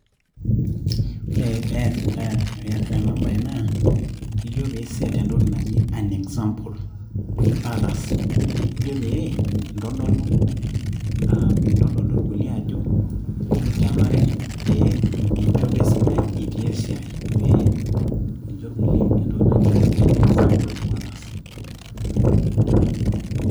Ore pee peasitai ena bae naa ijo peiset entoki naji an example to others ijo pee intobir piintodol irkulie ajo kenare peinchopo esidai tenilo esiaai peincho irkulie entoki naji example to others.